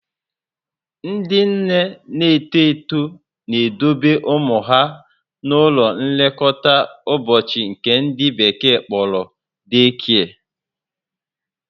Ndị nne na-eto eto na-edobe ụmụ ha n'ụlọ nlekọta ụbọchị nke ndị bekee kpọrọ day care